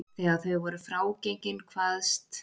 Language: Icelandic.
Þegar þau voru frágengin kvaðst